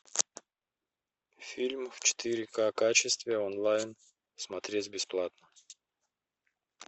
фильм в четыре ка качестве онлайн смотреть бесплатно